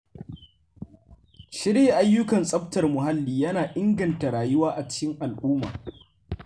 Shirya ayyukan tsaftar muhalli yana inganta rayuwa a cikin al’umma.